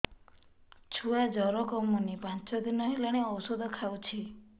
ଛୁଆ ଜର କମୁନି ପାଞ୍ଚ ଦିନ ହେଲାଣି ଔଷଧ ଖାଉଛି